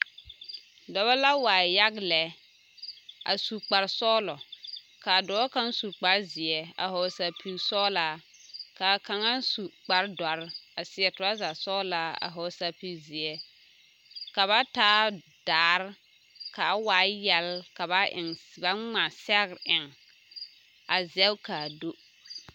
Dɔbɔ la waa yaɡa lɛ a su kparsɔɡelɔ ka a dɔɔ kaŋ su kparzeɛ a hɔɔle saɡesɔɔlaa ka a kaŋa su kpardɔre a seɛ trɔzasɔɡelaa a hɔɔle sapiɡizeɛ ka ba taa daare ka a waa yɛle ka ba ŋma sɛɡre eŋ a zɛŋ ka a do.